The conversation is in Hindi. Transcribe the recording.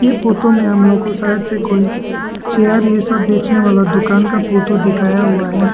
यह फोतो में हम लोग को साइड से कोई चेयर ये सब बेचने वाला दुकान का फोतो दिखाया हुआ है।